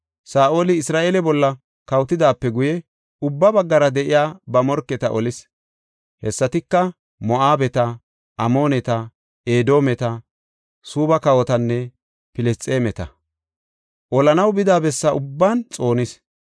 Saa7oli Isra7eele bolla kawotidaape guye, ubba baggara de7iya ba morketa olis. Hessatika, Moo7abeta, Amooneta, Edoometa, Suubba kawotanne Filisxeemeta. Olanaw bida bessa ubban xoonis.